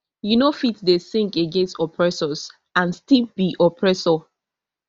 you no fit dey sing against oppressors and still be oppressor